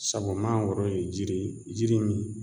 Sabu mangoro ye jiri ye jiri min